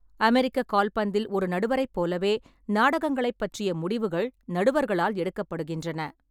அமெரிக்க கால்பந்தில் ஒரு நடுவரைப் போலவே, நாடகங்களைப் பற்றிய முடிவுகள் நடுவர்களால் எடுக்கப்படுகின்றன.